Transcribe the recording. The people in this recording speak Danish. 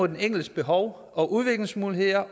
den enkeltes behov og udviklingsmuligheder